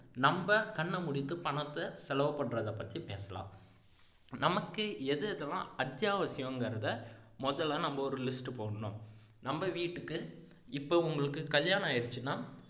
நம்ப கண்ணை மூடிக்கிட்டு பணத்தை செலவு பண்றதை பத்தி பேசலாம் நமக்கு எது எதெல்லாம் அத்தியாவசியம்கிறதை முதல்ல நம்ம ஒரு list போடணும் நம்ம வீட்டுக்கு இப்ப உங்களுக்கு கல்யாணம் ஆயிருச்சுனா